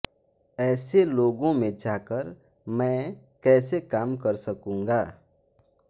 ऐसे लोगों में जाकर मैं कैसे काम कर सकूंगा